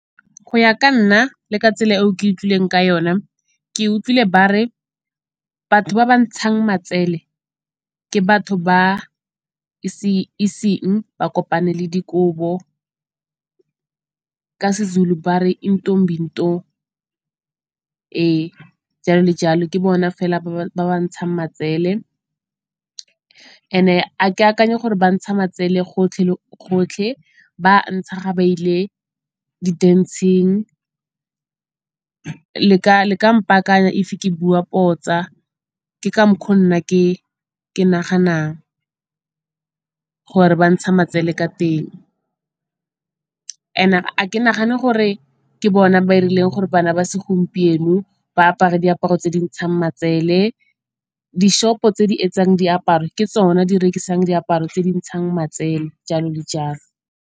Go ya ka nna le ka tsela eo ke utlwileng ka yone, ke utlwile ba re batho ba ba ntshang matsele ke batho ba iseng ba kopanele dikobo. Ka Sezulu ba re intombinto, e jalo le jalo. Ke bona fela ba ba ntshang matsele and-e ga ke akanye gore bantsha matsele gotlhe le gotlhe. Ba a ntsha ga ba ile di-dance-ng, le ka mpaakanya if ke bua potsa, ke ka mokgwa o nna ke naganang gore ba ntsha matsele ka teng. And-e ga ke nagane gore ke bone ba irileng gore bana ba segompieno ba apare diaparo tse di ntshang matsele. Di-shop-o tse di etsang diaparo ke tsona di rekisang diaparo tse di ntshang matsele, jalo le jalo.